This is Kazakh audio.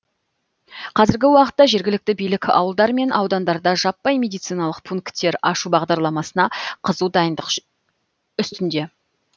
қазіргі уақытта жергілікті билік ауылдар мен аудандарда жаппай медциналық пунктер ашу бағдарламасына қызу дайындық үстінде